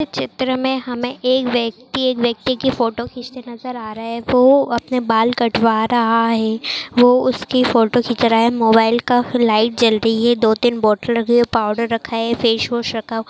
चित्र मे हमे एक व्यक्ती एक व्यक्ति की फोटो खिचते नजर आ रहा है वो अपने बाल कटवा रहा है वो उसकी फोटो खीच रहा है मोबाइल का लाइट जल रही है दो तीन बॉटल रखी है पाउडर रखा है फेस वॉश रखा --